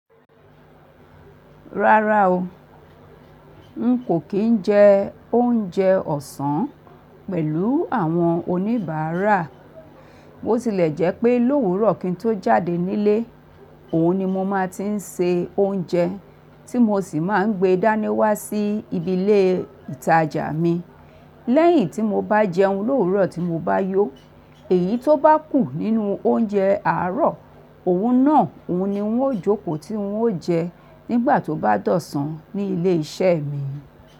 Rárá o, n kò kí ń jẹ oúnjẹ ọ̀sán pẹ̀lú àwọn oníbàárà. Bó tilẹ̀ jẹ́ pé lówùúrọ̀ kí n tó jáde nílé, òun ni mo máa ti ń se oúnjẹ, tí mo sì máa ń gbé dání wá sí ibi ilé ìtajà mi. Lẹ́yìn tí mo bá jẹun lówùúrọ̀ tí mo bá yó. Èyí tó bá kù nínú oúnjẹ àárọ̀, òun náà òun ni wọn ó jókòó tí wọn ó jẹ nígbà tó bá dọ̀san ní ilé iṣẹ́ mi.